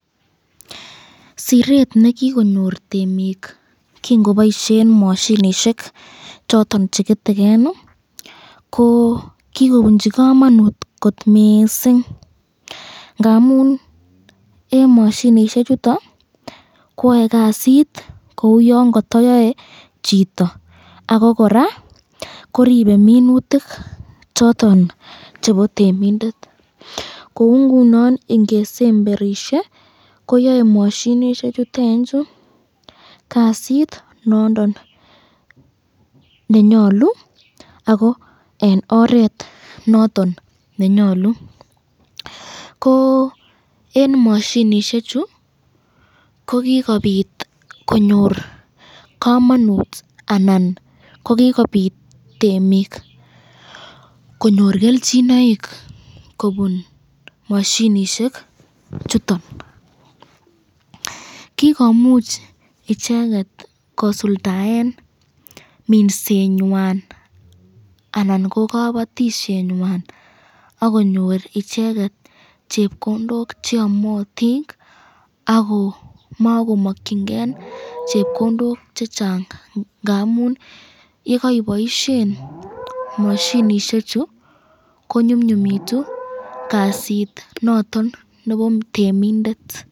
Siret nekikonyor temik kingoboisyen mashinishek choton cheketeken, kikobunchi kamanut kot mising ,ngamun eng mashinishek choton koyae kasit kou yon katayae chito, ako koraa koribe minutik choton chepo temindet ,kou ngunon ingesemberishe koyae koyae mashinishek chutenchu kasit nondon nenyalu ako eg oret nondon nenyalu, ko eng mashinishek chu ko kikobit konyor kamanut anan kokikobit temik konyor kelchinaek kobun mashinishek chuton, kikomuch icheket kosuldoen minsenywan anan ko kabatisyenywan akonyor icheket chepkondok cheamatin ako ako makomakkyinken chepkondok chechang ,ngamun yekiboisyen mashinishechu ko nyumnyumitu kasit noton nebo temindet.